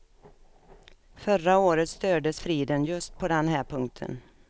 Förra året stördes friden just på den här punkten.